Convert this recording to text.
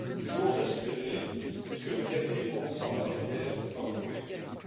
J'ose espérer que le dernier mot en la matière n'a pas encore été dit.